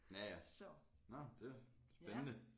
Ja ja nåh det spændende